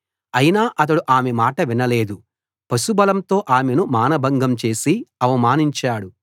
అయినా అతడు ఆమె మాట వినలేదు పశుబలంతో ఆమెను మానభంగం చేసి అవమానించాడు